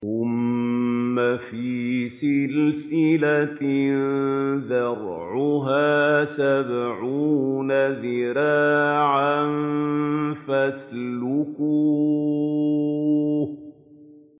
ثُمَّ فِي سِلْسِلَةٍ ذَرْعُهَا سَبْعُونَ ذِرَاعًا فَاسْلُكُوهُ